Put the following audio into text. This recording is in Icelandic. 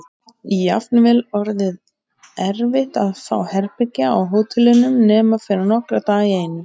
Jafnvel orðið erfitt að fá herbergi á hótelunum nema fyrir nokkra daga í einu.